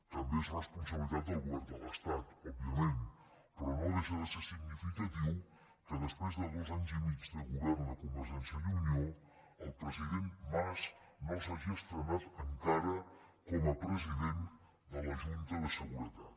també és responsabilitat del govern de l’estat òbviament però no deixa de ser significatiu que després de dos anys i mig de govern de convergència i unió el president mas no s’hagi estrenat encara com a president de la junta de seguretat